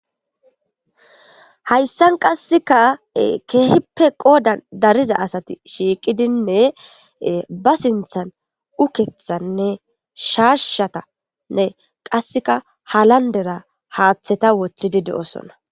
hayssan qasseka keehippe qoodan dariza asati shiiqidinne ba sinthan ukethanne sharshatanne qasseka halandera haaththeta wothidi de7osonna